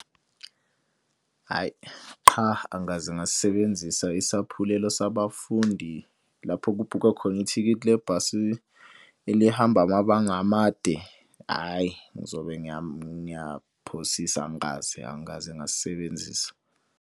Hhayi qha angikaze ngasisebenzisa isaphulelo sabafundi lapho kubhukhwa khona ithikithi lebhasi elihamba amabanga amade. Hhayi ngizobe ngiyaphosisa angikaze angikaze ngasisebenzisa.